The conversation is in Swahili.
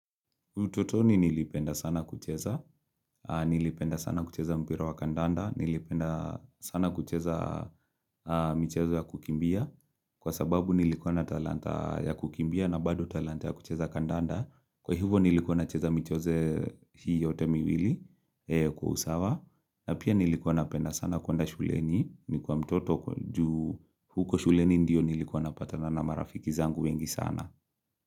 Utotoni nilipenda sana kucheza, nilipenda sana kucheza mpira wa kandanda, nilipenda sana kucheza mchezo ya kukimbia, kwa sababu nilikuwa na talanta ya kukimbia na bado talanta ya kucheza kandanda, kwa hivyo nilikuwa nacheza michoze hii yote miwili kwa usawa, na pia nilikuwa napenda sana kuenda shuleni, nikiwa mtoto juu huko shuleni ndio nilikuwa napatana na marafiki zangu wengi sana.